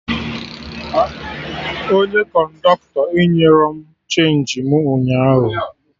Onye kọndọktọ enyerọ m chenji mụ ụnyaahụ